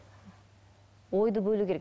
ойды бөлу керек